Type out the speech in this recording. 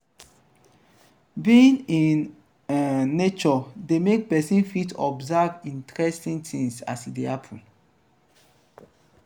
being in um nature de make persin fit observe interesting things as e de happen